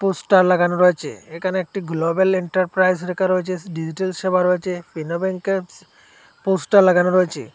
Poster লাগানো রয়েছে এখানে একটি গ্লোবাল এন্টারপ্রাইজ লেখা রয়েছে ডিজিটাল সেবা রয়েছে ফিনো ব্যাঙ্কেবস পোস্টার লাগানো রয়েছে।